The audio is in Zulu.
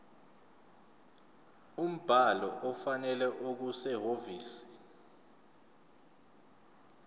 umbhalo ofanele okusehhovisi